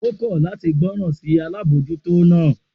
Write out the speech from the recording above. O kọ lati gboran si alabojuto naa